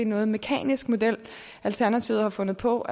noget mekanisk model alternativet har fundet på